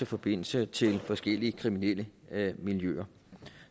forbindelse til forskellige kriminelle miljøer